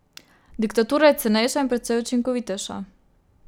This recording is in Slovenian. Diktatura je cenejša in precej učinkovitejša.